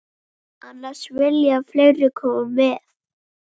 Annars vilja fleiri koma með.